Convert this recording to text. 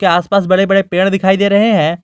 आस पास बड़े बड़े पेड़ दिखाई दे रहे हैं।